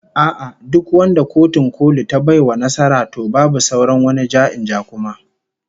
A'a, duk wanda Kotun Koli ta bai wa nasara, to babu sauran wani ja-in-ja kuma